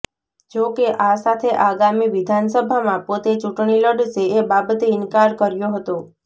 જો કે આ સાથે આગામી વિધાનસભામાં પોતે ચૂંટણી લડશે એ બાબતે ઈનકાર કર્યો હતો